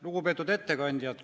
Lugupeetud ettekandjad!